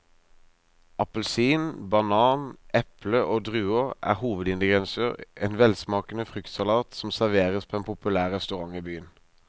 Appelsin, banan, eple og druer er hovedingredienser i en velsmakende fruktsalat som serveres på en populær restaurant i byen.